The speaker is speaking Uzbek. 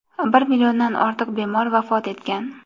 Bir milliondan ortiq bemor vafot etgan.